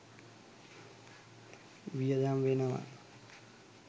වියදම් වෙනවා